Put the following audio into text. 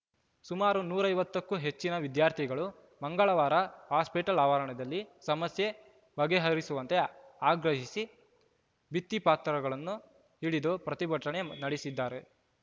ಸುಮಾರು ನೂರ ಐವತ್ತ ಕ್ಕೂ ಹೆಚ್ಚಿನ ವಿದ್ಯಾರ್ಥಿಗಳು ಮಂಗಳವಾರ ಹಾಸ್ಟೆಲ್‌ ಆವರಣದಲ್ಲಿ ಸಮಸ್ಯೆ ಬಗೆಹರಿಸುವಂತೆ ಆಗ್ರಹಿಸಿ ಭಿತ್ತಿಪತ್ರಗಳನ್ನು ಹಿಡಿದು ಪ್ರತಿಭಟನೆ ನಡೆಸಿದರು